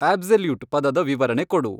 absolute ಪದದ ವಿವರಣೆ ಕೊಡು